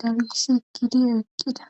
galis ekkidi eeqqida.